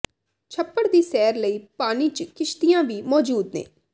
ਛੱਪੜ ਦੀ ਸੈਰ ਲਈ ਪਾਨੀ ਚ ਕਿਸ਼ਤਿਆਂ ਵੀ ਮੌਜੂਦ ਨੇ